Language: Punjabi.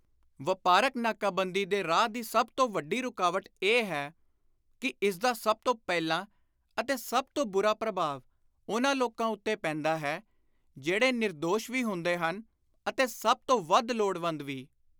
ਵਾਪਾਰਕ ਨਾਕਾਬੰਦੀ ਦੇ ਰਾਹ ਦੀ ਸਭ ਤੋਂ ਵੱਡੀ ਰੁਕਾਵਟ ਇਹ ਹੈ ਕਿ ਇਸਦਾ ਸਭ ਤੋਂ ਪਹਿਲਾਂ ਅਤੇ ਸਭ ਤੋਂ ਬਹੁਤਾ ਪ੍ਰਭਾਵ ਉਨ੍ਹਾਂ ਲੋਕਾਂ ਉੱਤੇ ਪੈਂਦਾ ਹੈ, ਜਿਹੜੇ ਨਿਰਦੋਸ਼ ਵੀ ਹੁੰਦੇ ਹਨ ਅਤੇ ਸਭ ਤੋਂ ਵੱਧ ਲੋੜਵੰਦ ਵੀ।